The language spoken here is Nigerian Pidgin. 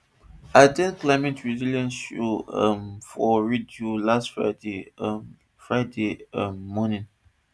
i at ten d climate resilience show um for radio last friday um friday um morning